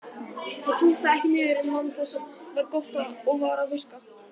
Ég punktaði ekki niður en man það sem var gott og var að virka.